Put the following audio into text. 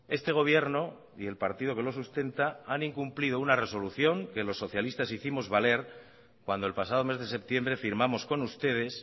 este gobierno y el partido que lo sustenta han incumplido una resolución que los socialistas hicimos vales cuando el pasado mes de septiembre firmamos con ustedes